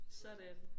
Sådan